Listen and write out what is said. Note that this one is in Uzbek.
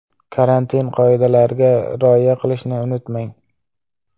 Karantin qoidalariga rioya qilishni unutmang.